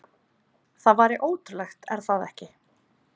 Það væri ótrúlegt, er það ekki?